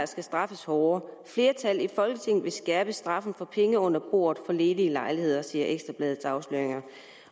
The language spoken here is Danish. skal straffes hårdere og at flertal i folketinget vil skærpe straffen for penge under bordet for ledige lejligheder det siger ekstra bladets afsløringer